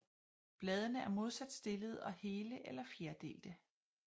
Bladene er modsat stillede og hele eller fjerdelte